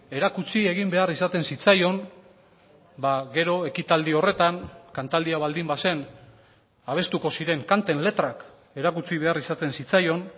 erakutsi egin behar izaten zitzaion gero ekitaldi horretan kantaldia baldin bazen abestuko ziren kanten letrak erakutsi behar izaten zitzaion